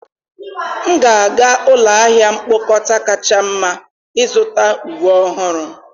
M ga-aga ụlọ ahịa mkpokọta kacha mma ịzụta uwe ọhụrụ